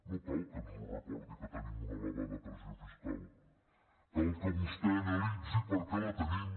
no cal que ens ho recordi que tenim una elevada pressió fiscal cal que vostè analitzi per què la tenim